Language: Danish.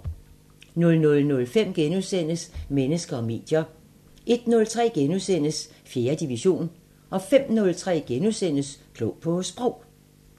00:05: Mennesker og medier * 01:03: 4. division * 05:03: Klog på Sprog *